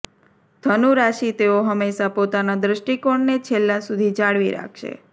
ધનુરાશિ તેઓ હંમેશાં પોતાના દૃષ્ટિકોણને છેલ્લા સુધી જાળવી રાખશે